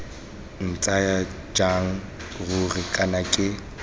ntsaya jang ruri kana ke